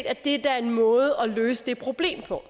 at det da er en måde at løse det problem på